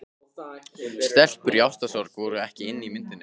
Stelpur í ástarsorg voru ekki inni í myndinni.